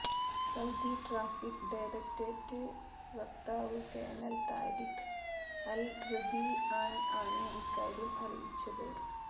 Saudi traffic directorate വ്യക്താവ് colonel Tariq al Rabian ആണ് ഇക്കാര്യം അറിയിച്ചത്